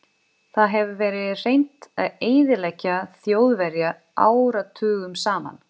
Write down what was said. Það hefur verið reynt að eyðileggja Þjóðverja áratugum saman.